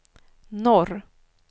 norr